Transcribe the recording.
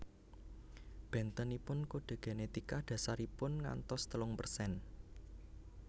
Bentenipun kode genetika dasaripun ngantos telung persen